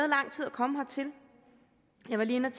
komme hertil jeg var lige inde